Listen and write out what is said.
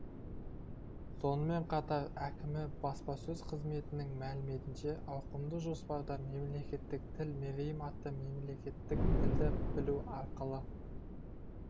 сонымен қатар әкімі баспасөз қызметінің мәліметінше ауқымды жоспарда мемлекеттік тіл мерейім атты мемлекеттік тілді білу арқылы